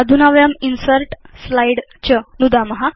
अधुना वयं insert slide च नुदाम